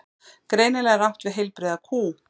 Greinilega er átt við heilbrigða kú.